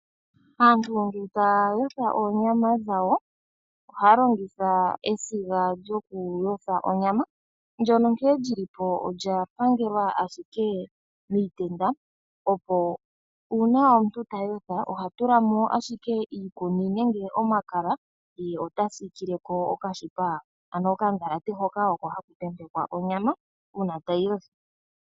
Aantu ngele taya yotha oonyama dhawo ohaya longitha esiga lyokuyotha onyama, ndyoka nkene li li po olya pangelwa ashike miitenda, opo uuna omuntu ta yotha oha tula mo ashike iikuni nenge omakala ye ota siikile ko okashipa, ano okandhalate hoka haku tentekwa onyama uuna tayi yothwa.